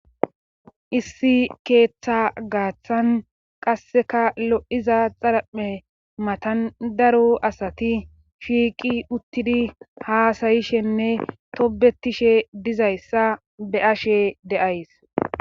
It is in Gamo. Issi keeththa gaaththan qasseka lo'iza xarame matandaru asati shiiqi uttidi haasayishenne tobetishe dizayssa be ashe deays